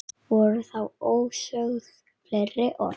Voru þá ósögð fleiri orð.